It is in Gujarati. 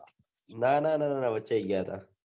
ના ના ના વચે ગયાં તા